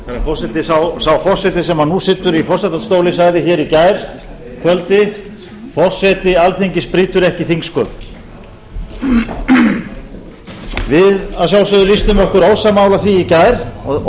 forseti sá forseti sem nú situr í forsetastóli sagði í gærkvöldi forseti alþingis brýtur ekki þingsköp við lýstum okkur að sjálfsögðu ósammála því í gær